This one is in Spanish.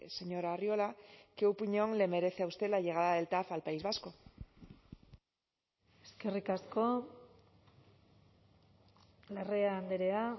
señor arriola qué opinión le merece a usted la llegada del tav al país vasco eskerrik asko larrea andrea